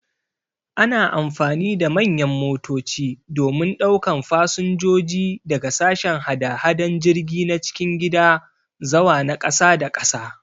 Ana amfani da manyan motoci domin daukan fasinjoji daga sashen hada-hadan jirgi na cikin gida zawa na kasa da kasa.